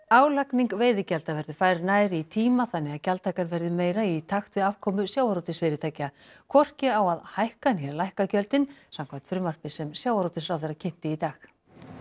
álagning veiðigjalda verður færð nær í tíma þannig að gjaldtakan verði meira í takt við afkomu sjávarútvegsfyrirtækja hvorki á að hækka né lækka gjöldin samkvæmt frumvarpi sem sjávarútvegsráðherra kynnti í dag